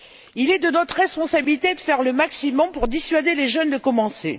Il est de notre responsabilité de faire le maximum pour dissuader les jeunes de commencer.